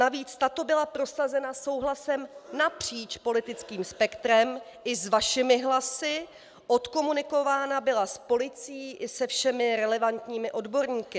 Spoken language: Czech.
Navíc tato byla prosazena souhlasem napříč politickým spektrem i s vašimi hlasy, odkomunikována byla s policií i se všemi relevantními odborníky.